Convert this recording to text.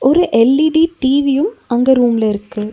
ஒரு எல்_இ_டி டி_வியும் அங்க ரூம்ல இருக்கு.